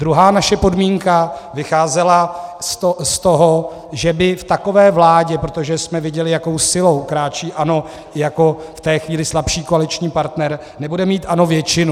Druhá naše podmínka vycházela z toho, že by v takové vládě, protože jsme viděli, jakou silou kráčí ANO, jako v té chvíli slabší koaliční partner, nebude mít ANO většinu.